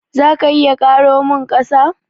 Za ka iya karo min ƙasa?